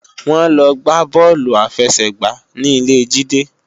Wọ́n lọ gbá bọ́ọ̀lù àfẹsẹ̀gbá ní ilé Jídé